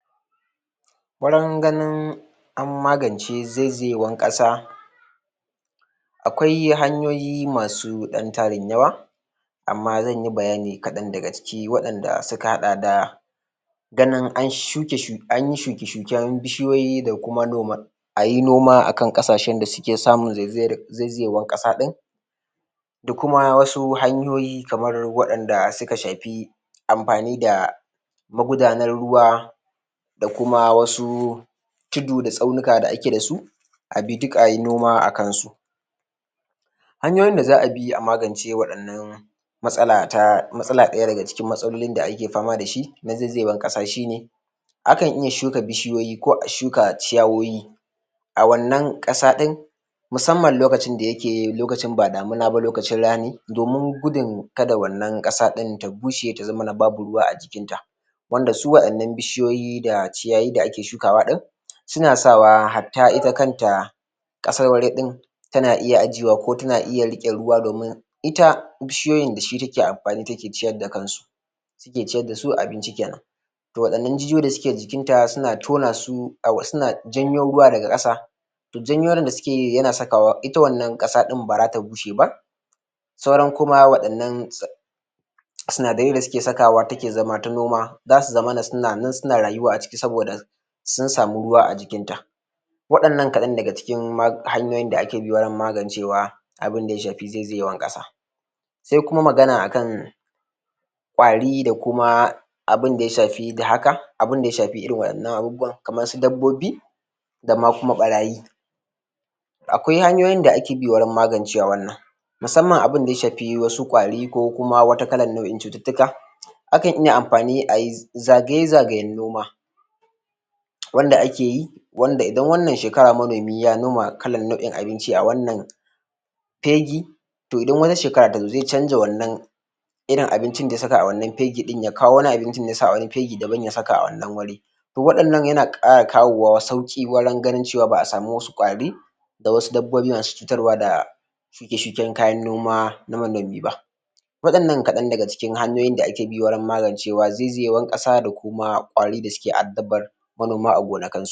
Wurin ganin an magance zaizayewar ƙasa akwai hanyoyi masu ɗan tarin yawa amma zan yi bayani kaɗan daga ciki waɗanda suka haɗa da ganin anyi shuke shuken bishiyoyi da kuma noma ayi noma akan ƙasashen da suke samun zaizayewar ƙasa ɗin da kuma wasu hanyoi kamar waɗanda suka shafi amfani da magudanan ruwa da kuma wasu tudu da tsaunuka da ake da su a bi duk ayi noma a kan su hanyoyin da za a bi a magance waɗannan matsala ta matsala ɗaya daga cikin matsalolin da ake fama da shi na zaizayewar ƙasa shine akan iya shuka bishiyoyi ko a shuka ciyawowi a wannan ƙasa ɗin musamman lokacin da yake lokacin ba damuna ba lokacin rani domin gudun kada wannan ƙasa ɗin ta bushe ta zamana babu ruwa a jikinta wanda su wa'innan bishiyoyi da ciyawowi da ake shukawa a wurin suna sawa hatta ita kanta ƙasar wuri ɗin tana iya ajiyewa ko tana uya riƙe ruwa domin ita bishiyoyin da shi take amfani take ciyar da kansu take ciyar da su abinci kenan to waɗannan jijiyoyi da suke jikinta suna janyo ruwa daga ƙasa su janyo ruwan da suke yi yana sakawa ita wannan ƙasa baza ta bushe ba sauran kuma waɗannan suna sinadarai da suke sakawa take zama ta noma zasu zamana suna nan suna rayuwa a ciki saboda sun samu ruwa a jikinta waɗannan kaɗan ne daga cikin hanyoyin da ake bi wurin magancewa abun da ya shafi zaizayewar ƙasa sai kuma magana akan ƙwari da kuma abunda ya shafi haka abunda ya shafi irin waɗannan abubuwa kamar su dabbobi da ma kuma ɓarayi akwai hanyoyin da ake bi wurin magance wa wanna musamman abunda ya shafi wasu ƙwari ko kuma wata kalar nau'in cututtuka akan iya amfani ayi zagaye-zagayen noma wanda ake yi wanda idan wannan shekara manomi ya noma kalan nau'in abinci a wannan fegi to idan wata shekara ta zo zai canza wannan irin abincin da ya saka a wannan fegin ya kawo wani abinci da ya sa a wani fegi daban ya sa a wannan fegi kuma waɗannan yana ƙara kawo sauƙi wajen ganin cewa ba a samu wasu ƙwari da wasu dabbobi wasu cutarwa da da shuke shuken kayan noma na manomi ba waɗannan kaɗan daga cikin hanyoyin da ake bi wurin magance wa zaizayewar ƙasa da kuma ƙwari da suke addabar manoma a gonakin su